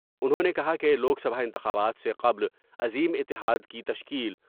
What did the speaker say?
انہوں نے کہا کہ لوک سبھا انتخابات سے قبل عظیم اتحاد کی تشکیل